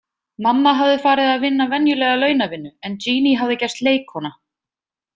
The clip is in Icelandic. Mamma hafði farið að vinna venjulega launavinnu en Jeanne hafði gerst leikkona.